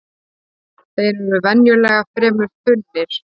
Þeir eru venjulega fremur þunnir